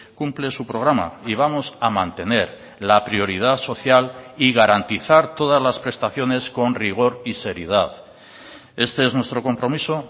cumple su programa y vamos a mantener la prioridad social y garantizar todas las prestaciones con rigor y seriedad este es nuestro compromiso